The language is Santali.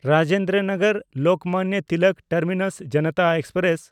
Rajendra ᱱᱚᱜᱚᱨ–ᱞᱳᱠᱢᱟᱱᱱᱚ Tilak terminus Janata express